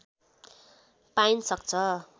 पाइन सक्छ